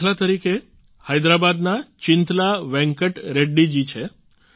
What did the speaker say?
દાખલા તરીકે હૈદરાબાદના ચિંતલા વેંકટ રેડ્ડી જી છે